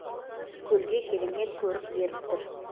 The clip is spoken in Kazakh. көлге керемет көрік беріп тұр